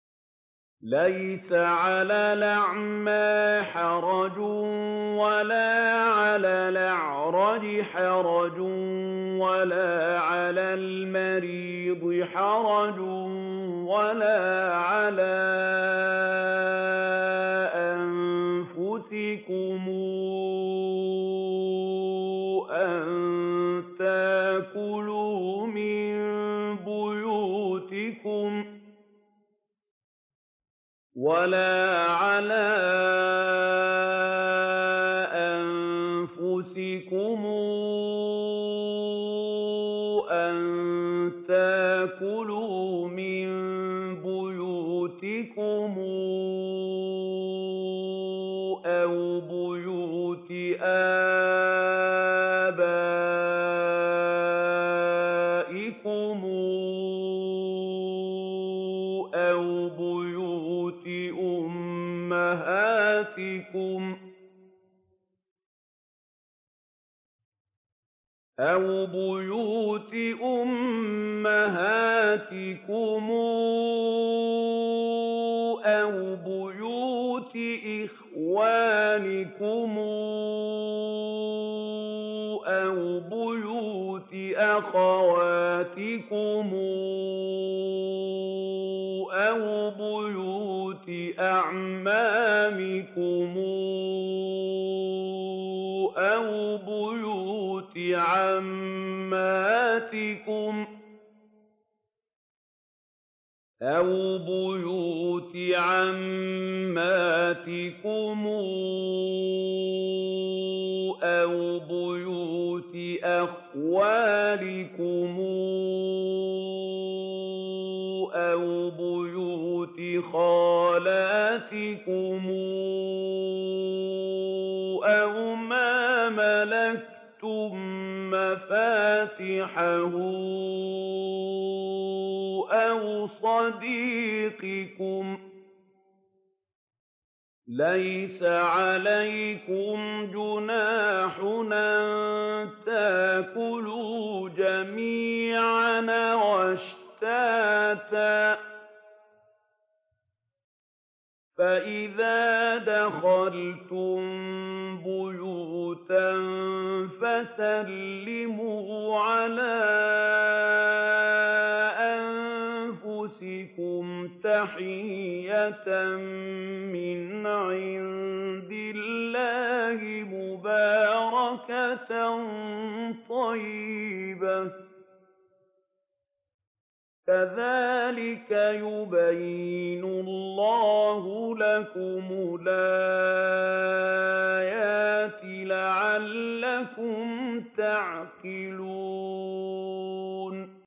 لَّيْسَ عَلَى الْأَعْمَىٰ حَرَجٌ وَلَا عَلَى الْأَعْرَجِ حَرَجٌ وَلَا عَلَى الْمَرِيضِ حَرَجٌ وَلَا عَلَىٰ أَنفُسِكُمْ أَن تَأْكُلُوا مِن بُيُوتِكُمْ أَوْ بُيُوتِ آبَائِكُمْ أَوْ بُيُوتِ أُمَّهَاتِكُمْ أَوْ بُيُوتِ إِخْوَانِكُمْ أَوْ بُيُوتِ أَخَوَاتِكُمْ أَوْ بُيُوتِ أَعْمَامِكُمْ أَوْ بُيُوتِ عَمَّاتِكُمْ أَوْ بُيُوتِ أَخْوَالِكُمْ أَوْ بُيُوتِ خَالَاتِكُمْ أَوْ مَا مَلَكْتُم مَّفَاتِحَهُ أَوْ صَدِيقِكُمْ ۚ لَيْسَ عَلَيْكُمْ جُنَاحٌ أَن تَأْكُلُوا جَمِيعًا أَوْ أَشْتَاتًا ۚ فَإِذَا دَخَلْتُم بُيُوتًا فَسَلِّمُوا عَلَىٰ أَنفُسِكُمْ تَحِيَّةً مِّنْ عِندِ اللَّهِ مُبَارَكَةً طَيِّبَةً ۚ كَذَٰلِكَ يُبَيِّنُ اللَّهُ لَكُمُ الْآيَاتِ لَعَلَّكُمْ تَعْقِلُونَ